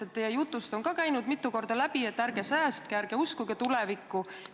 Sest teie jutust on ka käinud mitu korda läbi, et ärge säästke, ärge uskuge tulevikku.